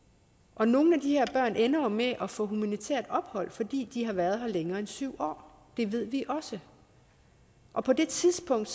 og nogle af de her børn ender jo med at få humanitært ophold fordi de har været her længere end syv år det ved vi også og på det tidspunkt